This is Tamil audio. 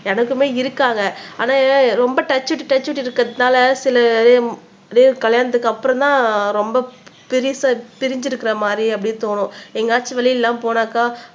எனக்குமே இருக்காண்க ஆனா ரொம்ப டச் விட்டு டச் விட்டு இருக்கறதுனால சில நேரம் கல்யாணத்துக்கு அப்புறம் தான் ரொம்ப பெருசா பிரிஞ்சி இருக்கிற மாதிரி அப்படி தோணும். எங்கயாச்சும் வெளியில எல்லாம் போனாக்கா